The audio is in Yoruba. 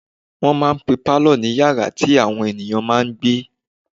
Wọ́n máà ń pe pálọ̀ ní yàrá tí àwọn èèyàn máa n gbé